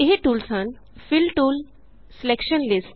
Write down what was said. ਇਹ ਟੂਲਸ ਹਨ fill tool selection lists